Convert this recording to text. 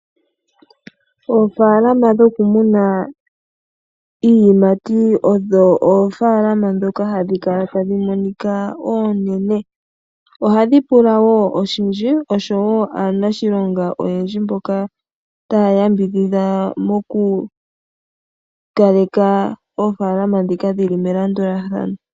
Oofaalama dhokumuna iiyimati odho oofaalama ndhoka hadhi kala tadhi monika oonene . Ohadhi pula aaniilonga oyendji moku kaleka aanafaalama mbaka me landulathano .